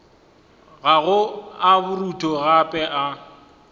gago a borutho gape a